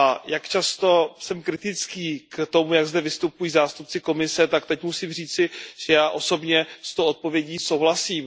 Jak jsem často kritický k tomu, jak zde vystupují zástupci Komise, tak teď musím říci, že já osobně s tou odpovědí souhlasím.